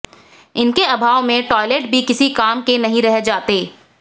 इनके अभाव में टॉयलेट भी किसी काम के नहीं रह जाते